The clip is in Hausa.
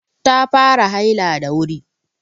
Ta fara haila da wuri.